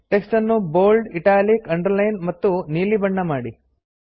text ನ್ನು bold italic underlined ಮತ್ತು ನೀಲಿ ಬಣ್ಣ ಮಾಡಿ